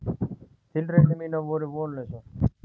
Tilraunir mínar voru vonlausar.